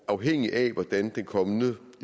afhænge af hvordan den kommende